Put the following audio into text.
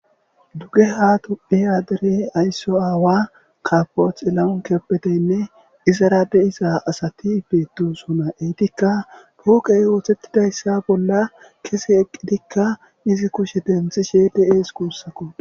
Duge ha tu phiyadere aysso aawa kapoch elaon keppetenne izarade isa asati beetu sona eytikka pooqey oothettidayssa bolla kese eqqidikka izi kushe denthishe de7ees kuussakko.